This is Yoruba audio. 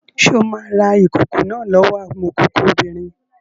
Ṣé o máa ra ìkòkò náà lọ́wọ́ amọ̀kòkò obìnrin?